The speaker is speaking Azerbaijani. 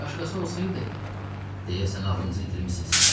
Başqası olsaydı, deyəsən ağlınızı itirmisiz.